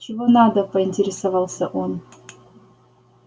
чего надо поинтересовался он